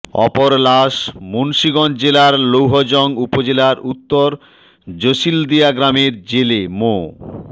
অপর লাশ মুন্সিগঞ্জ জেলার লৌহজং উপজেলার উত্তর জসিলদিয়া গ্রামের জেলে মো